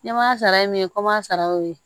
Ɲɛmaa sara ye mun ye kom'an sara ye o ye